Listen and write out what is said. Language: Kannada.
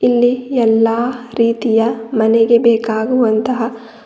ಇಲ್ಲಿ ಎಲ್ಲಾ ರೀತಿಯ ಮನೆಗೆ ಬೇಕಾಗುವಂತಹ--